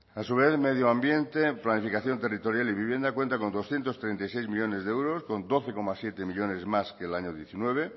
a su vez medio ambiente planificación territorial y vivienda cuenta con doscientos treinta y seis millónes de euros con doce coma siete millónes más que el año diecinueve